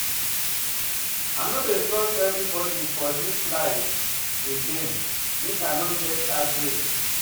I no dey trust everybodi for dis life again make I no get heartbreak.